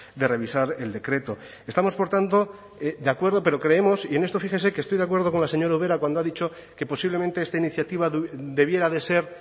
de revisar el decreto estamos por tanto de acuerdo pero creemos y en esto fíjese que estoy de acuerdo con la señora ubera cuando ha dicho que posiblemente esta iniciativa debiera de ser